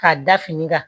K'a da fini kan